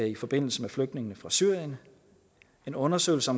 i forbindelse med flygtningene fra syrien en undersøgelse